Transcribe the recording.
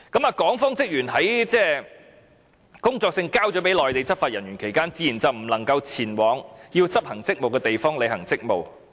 在港方職員把工作證交給了內地執法人員期間，自然便不能前往要執行職務的地方履行職務。